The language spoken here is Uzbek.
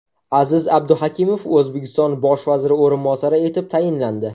Aziz Abduhakimov O‘zbekiston bosh vaziri o‘rinbosari etib tayinlandi.